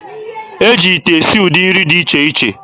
E ji ite esi ụdị nri dị iche iche.